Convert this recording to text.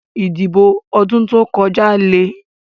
Ìdìbò ọdún tó kọjá lè.